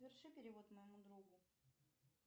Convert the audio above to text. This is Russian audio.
соверши перевод моему другу